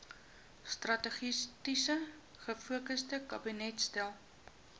strategies gefokusde kabinetstelsel